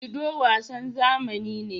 Ludo wasan zamani ne.